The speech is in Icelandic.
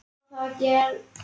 Mjög þétt.